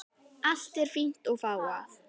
Allt er fínt og fágað.